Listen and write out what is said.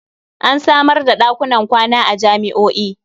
An samar da ɗakunan kwana a jami'o'i.